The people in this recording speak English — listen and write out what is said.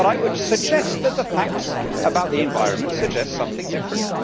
But I would suggest that the facts about the environment suggest something different.